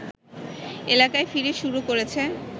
এলাকায় ফিরে শুরু করেছে